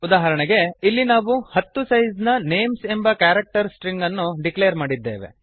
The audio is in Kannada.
ಉದಾಹರಣೆಗೆ ಇಲ್ಲಿ ನಾವು ಹತ್ತು ಸೈಸ್ ನ ನೇಮ್ಸ್ ಎಂಬ ಕ್ಯಾರೆಕ್ಟರ್ ಸ್ಟ್ರಿಂಗ್ ಅನ್ನು ಡಿಕ್ಲೇರ್ ಮಾಡಿದ್ದೇವೆ